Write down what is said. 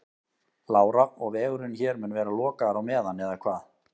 Lára: Og vegurinn hér mun vera lokaður á meðan eða hvað?